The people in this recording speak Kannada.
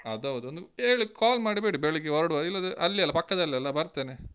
ಅದ್ ಹೌದು. ಒಂದ್ ಹೇಳಿ, call ಮಾಡಿಬಿಡಿ ಬೆಳಿಗ್ಗೆ ಹೊರ್ಡ್ವಾಗ. ಇಲ್ಲಾದ್ರೆ ಅಲ್ಲಿಯೆ ಅಲ್ಲಾ, ಪಕ್ಕದಲ್ಲಿ ಅಲ್ಲಾ ಬರ್ತೆನೆ.